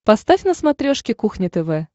поставь на смотрешке кухня тв